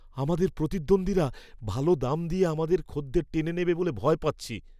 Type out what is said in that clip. আমাদের প্রতিদ্বন্দ্বীরা ভালো দাম দিয়ে আমাদের খদ্দের টেনে নেবে বলে ভয় পাচ্ছি।